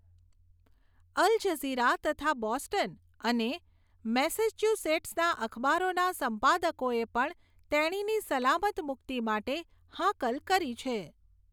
અલ Jazeera તથા Boston અને મેસેચ્યુસેટ્સના અખબારોના સંપાદકોએ પણ તેણીની સલામત મુક્તિ માટે હાકલ કરી છે.